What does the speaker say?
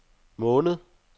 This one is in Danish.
måned